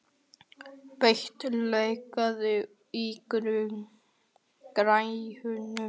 Peta, lækkaðu í græjunum.